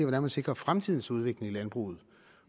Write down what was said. man sikrer fremtidens udvikling i landbruget